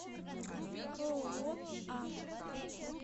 ооо а